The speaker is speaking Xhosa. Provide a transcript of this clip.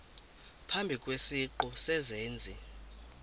phambi kwesiqu sezenzi